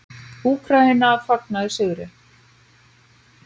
Úkraína fagnaði sigri